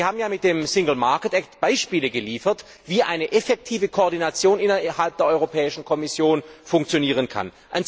Und Sie haben ja mit der Binnenmarktakte Beispiele geliefert, wie eine effektive Koordination innerhalb der Europäischen Kommission funktionieren kann.